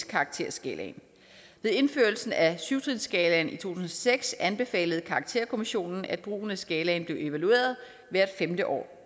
karakterskalaen ved indførelsen af syv trinsskalaen i to tusind og seks anbefalede karakterkommissionen at brugen af skalaen blev evalueret hvert femte år